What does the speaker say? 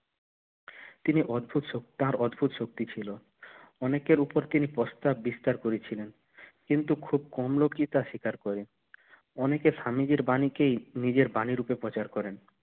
তিনি অদ্ভুদ তার অদ্ভুদ শক্তি ছিল অনেকের উপর তিনি প্রস্তার বিস্তার করেছিলেন কিন্তু খুব কম লোকই তার স্বীকার করে অনেকে স্বামীজির বাণীকেই নিজের বাণী রূপে প্রচার করেন